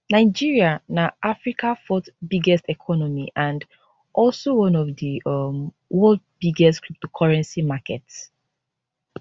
nigeria na africa fourth biggest economy and also one of di um world biggest cryptocurrency markets